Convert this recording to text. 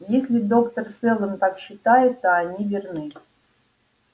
если доктор сэлдон так считает то они верны